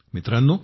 मित्रांनो